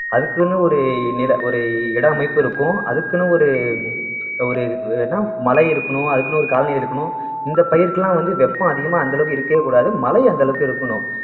அதுக்குன்னு ஒரு நில ஒரு இட அமைப்பு இருக்கும் அதுக்குன்னு ஒரு ஒரு இதுக்கு மழை இருக்கணும் அதுக்குன்னு ஒரு colony இருக்கணும் இந்த பயிருக்கெல்லாம் வந்து வெப்பம் அதிகமா அந்த அளவுக்கு இருக்கவே கூடாது மழை அந்த அளவுக்கு இருக்கணும்